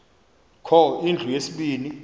kho indlu yesibini